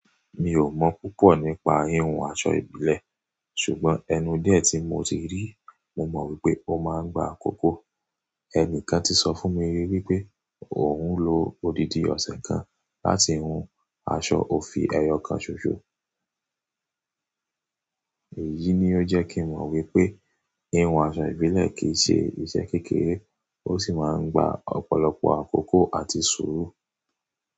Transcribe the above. Mi ò mọ̀ púpọ̀ nípa híhun aṣọ ìbílẹ̀, ṣùgbọ́n ẹnu díẹ̀ tí mo ti rí, mo mọ̀ wípé ó máa ń gba àkókò. Ẹni kan ti sọ fún mi ri wípé òun lo odidi ọ̀sẹ̀ kan láti hun aṣọ òfì ẹyọ kan ṣoṣo. Èyí ni ó jẹ́ kí n mọ̀ wípé híhun aṣọ ìbílẹ̀ kì í ṣe ìṣe kékeré, ó sì máa ń gba ọ̀pọ̀lọpọ̀ àkókò àti sùúrù.